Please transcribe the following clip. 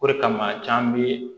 O de kama can bi